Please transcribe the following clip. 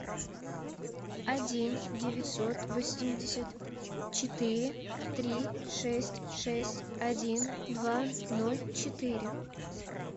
один девятьсот восемьдесят четыре три шесть шесть один два ноль четыре